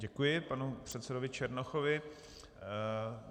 Děkuji panu předsedovi Černochovi.